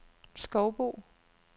Skovbo